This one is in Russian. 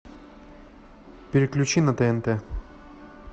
переключи на тнт